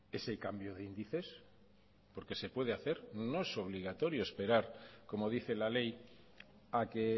ese cambio de índices porque se puede hacer no es obligatorio esperar como dice la ley a que